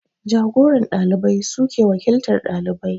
Jagoran ɗalibai suke wakiltar ɗalibai